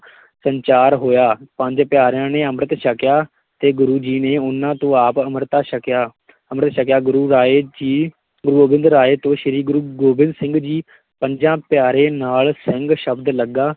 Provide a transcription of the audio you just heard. ਸੰਚਾਰ ਹੋਇਆ, ਪੰਜ ਪਿਆਰਿਆਂ ਨੇ ਅੰਮ੍ਰਿਤ ਛਕਿਆ ਤੇ ਗੁਰੂ ਜੀ ਨੇ ਉਹਨਾ ਤੋਂ ਆਪ ਅੰਮ੍ਰਿਤ ਛਕਿਆ ਅੰਮ੍ਰਿਤ ਛਕਿਆ, ਗੁਰੂ ਰਾਏ ਜੀ ਗੁਰੂ ਗੋਬਿੰਦ ਰਾਏ ਤੋਂ ਸ਼੍ਰੀ ਗੁਰੂ ਗੋਬਿੰਦ ਸਿੱਘ ਜੀ ਪੰਜਾ ਪਿਆਰੇ ਨਾਲ ਸਿੰਘ ਸ਼ਬਦ ਲੱਗਾ